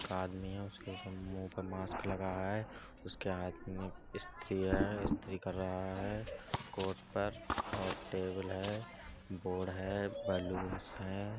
एक आदमी है | उसके मुंह पर मास्क लगा है | उसके हाथ में इस्त्री है इस्त्री कर रहा है कोट पर और टेबल है बोर्ड है बैलूनस हैं |